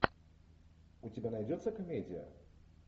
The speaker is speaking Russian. у тебя найдется комедия